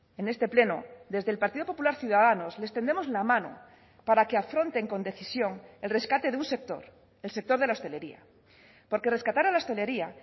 en este pleno desde el partido popular ciudadanos les tendemos la mano para que afronten con decisión el rescate de un sector el sector de la hostelería porque rescatar a la hostelería